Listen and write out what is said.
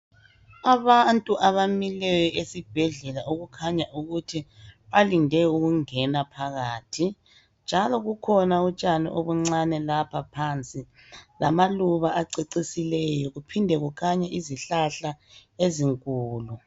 Abantu abamileyo esibhedlela okukhanya ukuthi balinde ukungena phakathi njalo kukhona utshani obuncane lapha phansi lamaluba acecisileyo kuphinde kukhanye izihlahla ezinkulu.